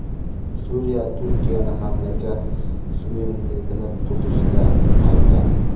Suriya Turkiyani mamlakat suverenitetini buzishda aybladi.